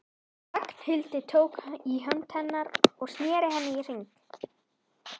Ragnhildi, tók í hönd hennar og sneri henni í hringi.